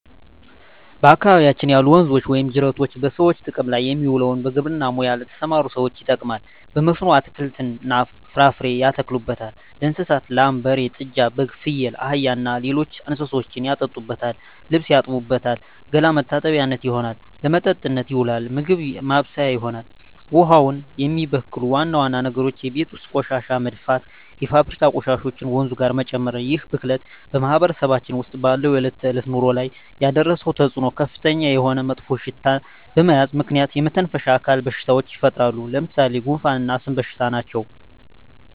በአካባቢያችን ያሉ ወንዞች ወይም ጅረቶች በሰዎች ጥቅም ላይ የሚውለው በግብርና ሙያ ለተሠማሩ ሠዎች ይጠቅማል። በመስኖ አትክልትን፣ ፍራፍሬ ያተክሉበታል። ለእንስሳት ላም፣ በሬ፣ ጥጃ፣ በግ፣ ፍየል፣ አህያ እና ሌሎች እንስሶችን ያጠጡበታል፣ ልብስ ይታጠብበታል፣ ገላ መታጠቢያነት ይሆናል። ለመጠጥነት ይውላል፣ ምግብ ማብሠያ ይሆናል። ውሃውን የሚበክሉ ዋና ዋና ነገሮች የቤት ውስጥ ቆሻሻ መድፋት፣ የፋብሪካ ቆሻሾችን ወንዙ ጋር መጨመር ይህ ብክለት በማህበረሰባችን ውስጥ ባለው የዕለት ተዕለት ኑሮ ላይ ያደረሰው ተፅዕኖ ከፍተኛ የሆነ መጥፎሽታ በዚህ ምክንያት የመተነፈሻ አካል በሽታዎች ይፈጠራሉ። ለምሣሌ፦ ጉንፋ እና የአስም በሽታ ናቸው።